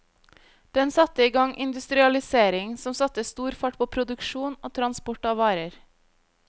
Den satte i gang industrialisering som satte stor fart på produksjon og transport av varer.